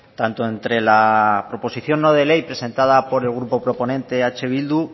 tanto entre la proposición no de ley presentada por el grupo proponente eh bildu